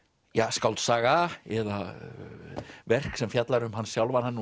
skáldsaga eða verk sem fjallar um hann sjálfan hann